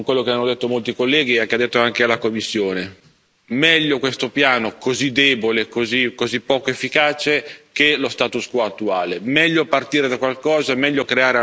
Ciononostante, sono d'accordo con quello che hanno detto molti colleghi e che ha detto anche la Commissione meglio questo piano così debole, così poco efficace, che lo status quo attuale.